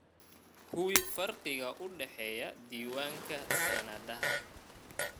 Hubi farqiga u dhexeeya diiwaanka sanadaha.